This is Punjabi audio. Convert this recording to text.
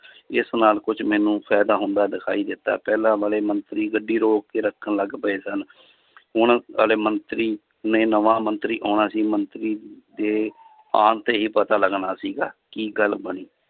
ਇਸ ਨਾਲ ਕੁੱਝ ਮੈਨੂੰ ਫ਼ਾਇਦਾ ਹੁੰਦਾ ਦਿਖਾਈ ਦਿੱਤਾ ਪਹਿਲਾਂ ਵਾਲੇ ਮੰਤਰੀ ਗੱਡੀ ਰੋਕ ਕੇ ਰੱਖਣ ਲੱਗ ਪਏ ਸਨ ਹੁਣ ਵਾਲੇ ਮੰਤਰੀ ਨੇ ਨਵਾਂ ਮੰਤਰੀ ਆਉਣਾ ਸੀ ਮੰਤਰੀ ਦੇ ਆਉਣ ਤੇ ਹੀ ਪਤਾ ਲੱਗਣਾ ਸੀਗਾ ਕੀ ਗੱਲ ਬਣੀ